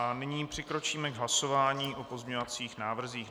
A nyní přikročíme k hlasování o pozměňovacích návrzích.